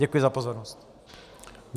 Děkuji za pozornost.